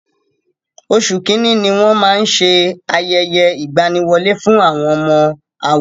Oṣù Kínní ní wón máa ń ṣe ayẹyẹ ìgbaniwọlé fún àwọn ọmọ àwo.